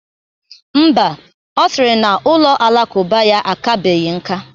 Mba, ọ sịrị na ụlọ alakụba ya akabeghi nká